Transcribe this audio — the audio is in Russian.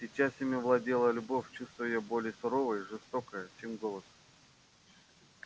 сейчас ими владела любовь чувство её более суровое и жестокое чем голод